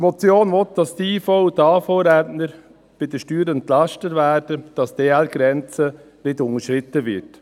Die Motion fordert, dass die IV- und AHV-Rentner bei den Steuern entlastet werden und dass die Ergänzungsleitungsgrenze nicht unterschritten wird.